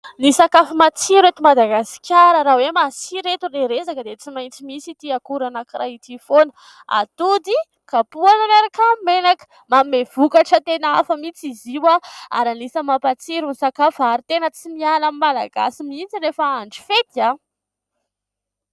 Ny sakafo matsiro eto Madagasikara raha hoe masira eto ilay resaka dia tsy maintsy misy ity akora anankiray ity foana. Atody kapohana miaraka amin'ny menaka. Manome vokatra tena hafa mihitsy izy io ary anisan'ny mampatsiro ny sakafo. Ary tena tsy miala amin'ny malagasy mihitsy rehefa andro fety.